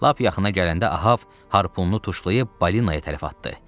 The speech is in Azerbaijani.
Lap yaxına gələndə Ahav harpununu tuşlayıb balinaya tərəf atdı.